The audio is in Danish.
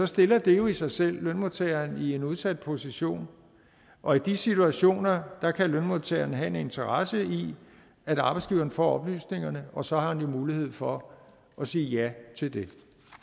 stiller det jo i sig selv lønmodtageren i en udsat position og i de situationer kan lønmodtageren have en interesse i at arbejdsgiveren får oplysningerne og så har man jo mulighed for at sige ja til det